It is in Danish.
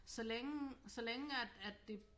Så længe så længe at at det